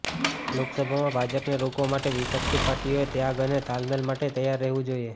લોકસભામાં ભાજપને રોકવા માટે વિપક્ષી પાર્ટીઓએ ત્યાગ અને તાલમેલ માટે તૈયાર રહેવુ જોઈએ